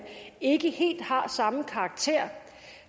ikke helt har samme karakter